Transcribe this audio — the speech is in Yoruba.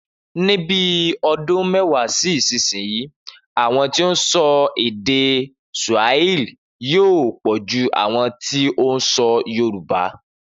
Ni bi o̩dún mé̩wàá sí ìsinyìí, àwo̩n tó ń so̩ èdè Sùàhílì yóò pò̩ ju àwo̩n tó ń so̩ Yorùbá